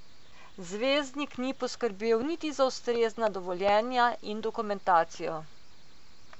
Zvezdnik ni poskrbel niti za ustrezna dovoljenja in dokumentacijo.